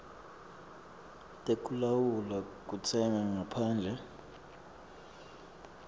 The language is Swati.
tekulawula kutsenga ngaphandle